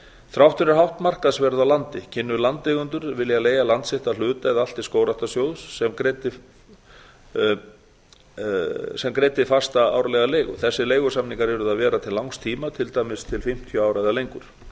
þrátt fyrir hátt markaðsverð á landi kynnu landeigendur að vilja leigja land sitt að hluta eða allt til skógræktarsjóðs sem greiddi fasta árlega leigu þessir leigusamningar yrðu að vera til langs tíma til dæmis til fimmtíu ára eða lengur